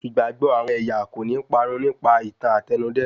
Ìgbàgbọ àwọn ẹ̀yà kòní parun nípa ìtàn Àtẹnudẹ́nu.